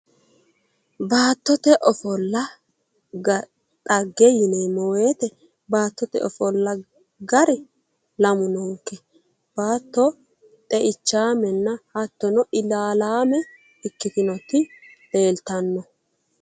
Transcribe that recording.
baattote ofolla dhagge yineemmowoyite baattote ofolla gari lamu noonke baatto xeichaame hattono ilaalaame ikkitinoti leeltanno.